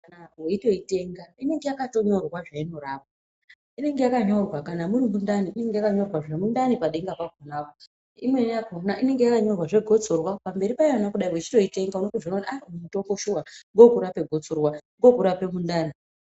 Weitoitenga inenge yakatonyorwa zveinorapa, muri mundani unenge wakanyorwa zvemundani padenga pakonapo, imweni yakona inenge yakanyorwa zvegotsorwa pamberi payona kudai wechitoitonga unotozviona kuti aaa uyu mutombo shuwa ngewekurapa gotsorwa uyu ngowokurapa mundani.